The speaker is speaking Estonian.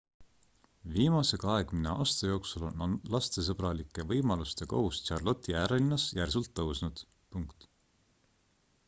viimase 20 aasta jooksul on lastesõbralike võimaluste kogus charlotte'i äärelinnas järsult tõusnud